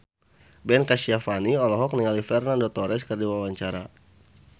Ben Kasyafani olohok ningali Fernando Torres keur diwawancara